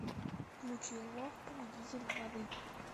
включи лох победитель воды